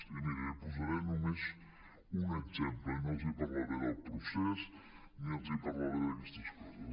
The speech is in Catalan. i miri li posaré només un exemple i no els parlaré del procés ni els parlaré d’aquestes coses